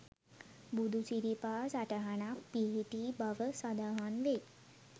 බුදුසිරිපා සටහනක් පිහිටි බව සඳහන් වෙයි.